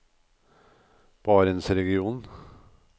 barentsregionen